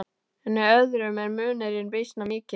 En í öðrum er munurinn býsna mikill.